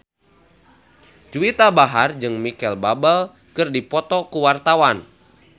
Juwita Bahar jeung Micheal Bubble keur dipoto ku wartawan